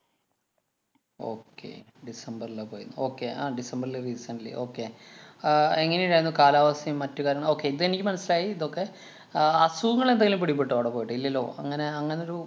okay ഡിസംബറിലാ പോയെ. okay ആ ഡിസംബറിലെ recently okay ആഹ് എങ്ങനെയുണ്ടായിരുന്നു കാലാവസ്ഥയും, മറ്റു കാര്യങ്ങള് okay ഇതെനിക്ക് മനസിലായി ഇതൊക്കെ. അഹ് അസുഖങ്ങള്‍ എന്തേലും പിടിപെട്ടോ അവിടെ പോയിട്ട്. ഇല്ലല്ലോ. അങ്ങനെ അങ്ങനൊരു